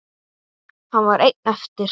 Hann var einn eftir.